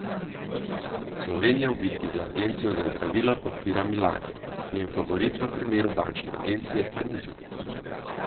Slovenija v bitki za agencijo za zdravila podpira Milano, njen favorit v primeru bančne agencije pa ni znan.